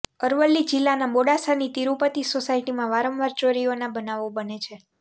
અરવલ્લી જીલ્લાના મોડાસાની તિરુપતિ સોસાયટીમાં વારંવાર ચોરીઓંના બનાવો બને છે